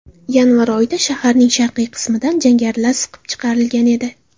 Yanvar oyida shaharning sharqiy qismidan jangarilar siqib chiqarilgan edi.